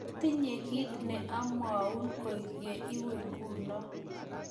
matinye kiit ne amwaun koi ye iwe nguno